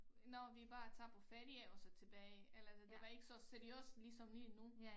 Når vi bare tager på ferie og så tilbage eller det det var ikke så seriøst ligesom lige nu